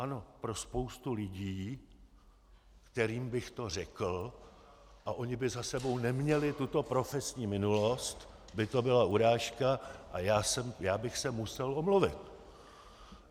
Ano, pro spoustu lidí, kterým bych to řekl a oni by za sebou neměli tuto profesní minulost, by to byla urážka a já bych se musel omluvit.